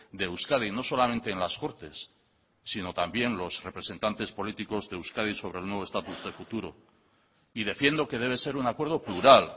de euskadi no solamente en las cortes sino también los representantes políticos de euskadi sobre el nuevo estatus de futuro y defiendo que debe ser un acuerdo plural